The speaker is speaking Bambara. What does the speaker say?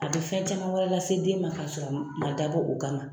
A tɛ fɛn caman wɛrɛ lase den ma k'a sɔrɔ a ma dabɔ, o kama.